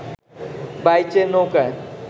বাইচের নৌকায়